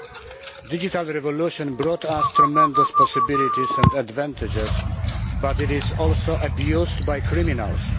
The digital revolution brought us tremendous possibilities and advantages, but it is also abused by criminals.